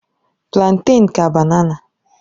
Plantèn ka banana.